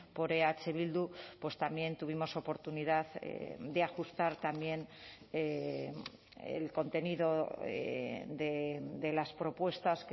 por eh bildu pues también tuvimos oportunidad de ajustar también el contenido de las propuestas